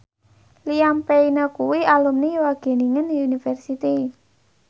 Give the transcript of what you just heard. Liam Payne kuwi alumni Wageningen University